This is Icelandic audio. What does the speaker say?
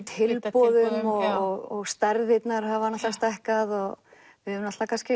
tilboðum og stærðirnar hafa náttúrulega stækkað og við höfum